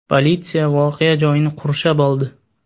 Politsiya voqea joyini qurshab oldi.